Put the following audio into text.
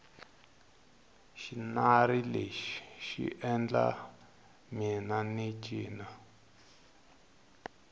xinari lexi xi endla mina ni cina